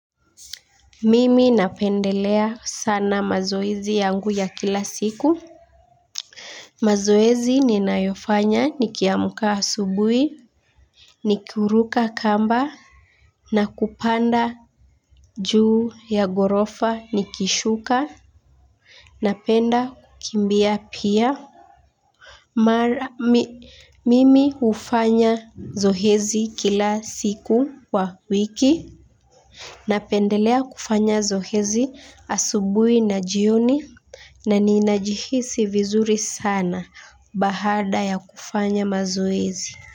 Mimi napendelea sana mazoezi yangu ya kila siku. Mazoezi ninayofanya nikiamka asubuhi. Ni kuruka kamba. Na kupanda juu ya ghorofa nikishuka. Napenda kukimbia pia. Mimi hufanya zoezi kila siku kwa wiki. Napendelea kufanya zoezi asubuhi na jioni. Na ninajihisi vizuri sana baada ya kufanya mazoezi.